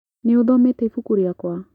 Nĩũthomete ibuku rĩakwa?